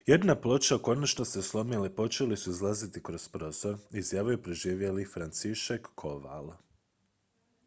jedna ploča konačno se slomila i počeli su izlaziti kroz prozor izjavio je preživjeli franciszek kowal